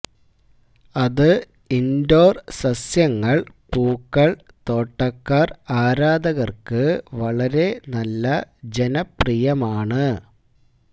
അത് ഇൻഡോർ സസ്യങ്ങൾ പൂക്കൾ തോട്ടക്കാർ ആരാധകർക്ക് വളരെ നല്ല ജനപ്രിയമാണ്